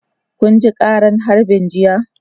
Kun ji ƙaran harbin jiya?